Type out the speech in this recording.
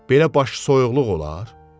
Belə başısoyuqluq olar?